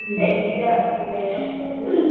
সেই দিদার দিদার কথাটাই বলছি